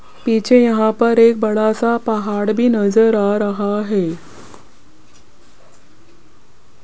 पीछे यहां पर एक बड़ा सा पहाड़ भी नजर आ रहा है।